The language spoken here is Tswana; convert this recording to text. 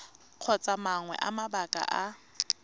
kgotsa mangwe a mabaka a